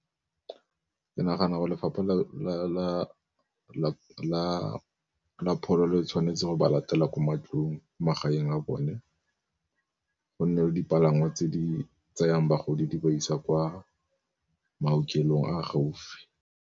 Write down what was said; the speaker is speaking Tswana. Ke nagana gore lefapha la pholo le tshwanetse go ba latela kwa matlong, magaeng a bone go nne le dipalangwa tse di tsayang bagodi di ba isa kwa maokelong a gaufi.